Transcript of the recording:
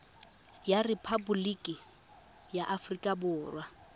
wa rephaboliki ya aforika borwa